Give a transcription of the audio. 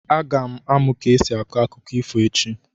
Aga m amụ ka esi akọ akụkọ ifo echi.